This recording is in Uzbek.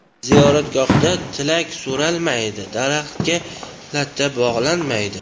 Ziyoratgohdan tilak so‘ralmaydi, daraxtga latta bog‘lanmaydi.